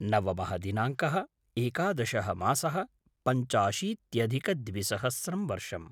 नवमः दिनाङ्कः - एकादशः मासः - पञ्चाशीत्यधिकद्विसहस्रं वर्षम्